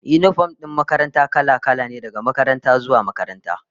Yinifom din makaranta kala-kala ne, daga makaranta zuwa makaranta